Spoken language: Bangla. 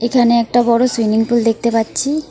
এখানে একটা বড় সুইমিং পুল দেখতে পাচ্ছি।